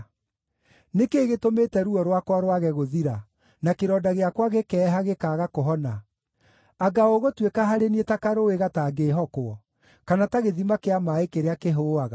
Nĩ kĩĩ gĩtũmĩte ruo rwakwa rwage gũthira, na kĩronda gĩakwa gĩkeeha, gĩkaaga kũhona? Anga ũgũtuĩka harĩ niĩ ta karũũĩ gatangĩĩhokwo, kana ta gĩthima kĩa maaĩ kĩrĩa kĩhũũaga?